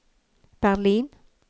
Berlin